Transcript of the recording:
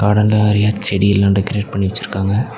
பிராண்ட்ல நறைய செடி எல்லா டெக்ரேட் பண்ணி வெச்சுருக்காங்க.